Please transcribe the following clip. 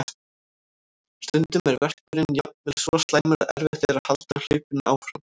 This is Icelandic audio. Stundum er verkurinn jafnvel svo slæmur að erfitt er að halda hlaupinu áfram.